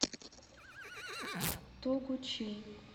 тогучин